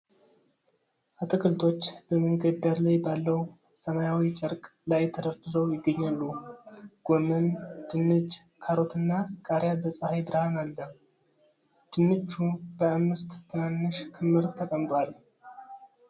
አትክልቶች በመንገድ ዳር ባለው ሰማያዊ ጨርቅ ላይ ተደርድረው ይገኛሉ። ጎመን፣ ድንች፣ ካሮትና ቃሪያ በፀሐይ ብርሃን አለ። ድንቹ በአምስት ትናንሽ ክምር ተቀምጧል።